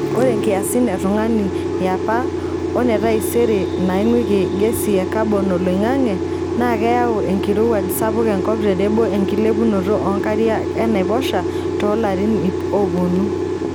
Ore nkiasin e tung'ani yapa one taisere naingweki gesi e kabon oloingange naa keyau enkirowuaj sapuk enkop tenebo enkilepunoto oonkarika enaiposha toolarin iip oopuonu.[long sentence]